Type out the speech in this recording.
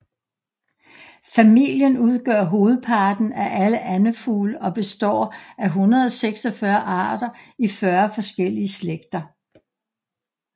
Familien udgør hovedparten af alle andefugle og består af 146 arter i 40 forskellige slægter